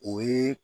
O ye